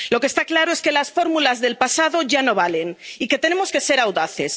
Lo que está claro es que las fórmulas del pasado ya no valen y que tenemos que ser audaces.